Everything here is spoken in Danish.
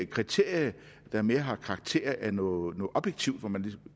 kriterier der mere har karakter af noget objektivt hvor man kan